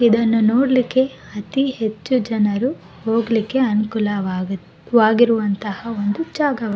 ಇದನ್ನು ನೋಡ್ಲಿಕ್ಕೆ ಅತಿಹೆಚ್ಚು ಜನರು ಹೋಗ್ಲಿಕ್ಕೆ ಅನಕೂಲವಾಗುತ್ ವಾಗಿರುವಂತಹ ಒಂದು ಜಾಗವಾ --